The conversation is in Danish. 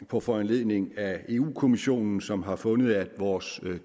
på foranledning af europa kommissionen som har fundet at vores